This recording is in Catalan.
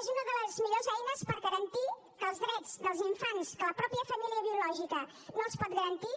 és una de les millors eines per garantir que els drets dels infants que la mateixa família biològica no els pot garantir